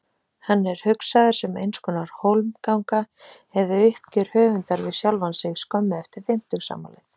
Hann er hugsaður sem einskonar hólmganga eða uppgjör höfundar við sjálfan sig skömmu eftir fimmtugsafmælið.